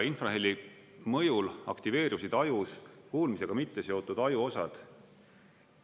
Infraheli mõjul aktiveerusid ajus kuulmisega mitteseotud ajuosad.